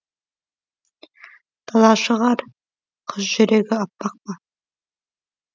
тала шығар қыз жүрегі аппақ па